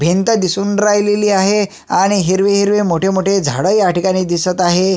भिंत दिसून राहिलेली आहे आणि हिरवे हिरवे मोठ झाड ह्या ठिकाणी दिसात आहे.